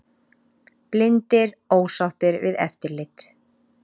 Blindir ósáttir við eftirlit